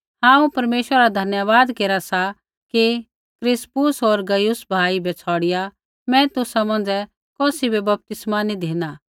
हांऊँ परमेश्वरा रा धन्यवाद केरा सा कि क्रिस्पुस होर गयुस भाई बै छ़ौड़िआ मैं तुसा मौंझ़ै कौसी बै बपतिस्मा नी धिना